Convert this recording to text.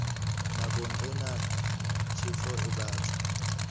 nakong ena tjhefo e batla